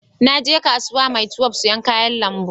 Na je kasuwan maitwef sayan kayan lambu